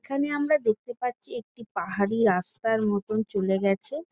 এখানে আমরা দেখতে পাচ্ছি একটা পাহাড়ি রাস্তার মতন চলে গেছে ।